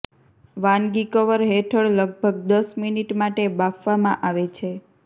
વાનગી કવર હેઠળ લગભગ દસ મિનિટ માટે બાફવામાં આવે છે